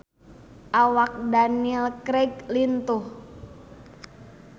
Awak Daniel Craig lintuh